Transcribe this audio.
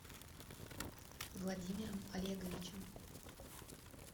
владимиром олеговичем